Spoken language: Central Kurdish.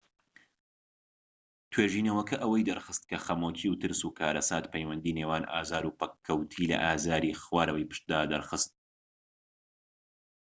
توێژینەوەکە ئەوەی دەرخست کە خەمۆکی و ترس و کارەسات پەیوەندی نێوان ئازار و پەککەووتی لە ئازاری خوارەوەی پشتدا دەرخست